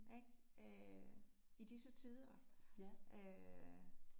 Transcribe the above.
Ik øh i disse tider øh